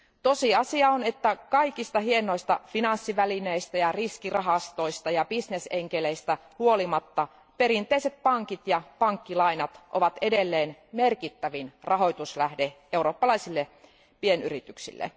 Tosiasia on, että kaikista hienoista finanssivälineistä ja riskirahastoista ja businessenkeleistä huolimatta perinteiset pankit ja pankkilainat ovat edelleen merkittävin rahoituslähde eurooppalaisille pienyrityksille.